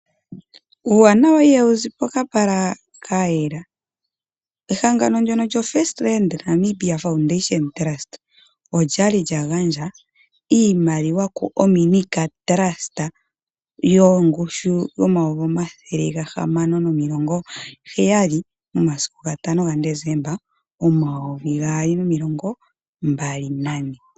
Uuwanawa ihawu zi pokapala kayela. Ehangano ndjono lyo First Foundation trust olya li lyagandja iimaliwa kuOMNICARE TRUST yongushu N$670000 momasiku 5 Desemba 2024.